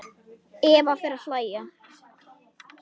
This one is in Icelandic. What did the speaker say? Eva fer að hlæja.